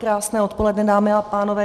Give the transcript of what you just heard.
Krásné odpoledne dámy a pánové.